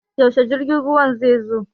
Yaushe jirgin ruwan zai zo?